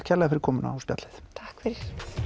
kærlega fyrir komuna og spjallið takk fyrir